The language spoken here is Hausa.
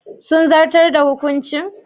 Sun zartar da hukuncin?